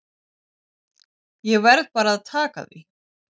Ég verð bara að taka því.